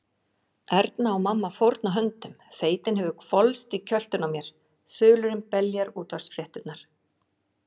Erna og mamma fórna höndum, feitin hefur hvolfst í kjöltuna á mér, þulurinn beljar útvarpsfréttirnar.